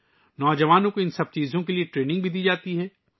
ان سب کے لئے نوجوانوں کو تربیت بھی دی جاتی ہے